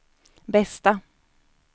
bästa